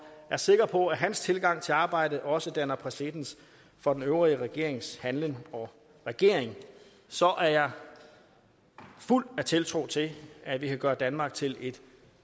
er sikker på at hans tilgang til arbejdet også danner præcedens for den øvrige regerings handlen og ageren så jeg er fuld af tiltro til at vi kan gøre danmark til et